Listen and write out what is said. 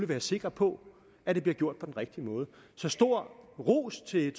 være sikker på at det bliver gjort på den rigtige måde så stor ros til